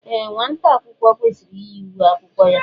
Ee, nwata akwụkwọ kwesịrị iyi uwe akwụkwọ ya.